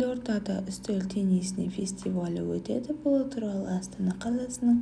елордада үстел теннисінен фестивалі өтеді бұл туралы астана қаласының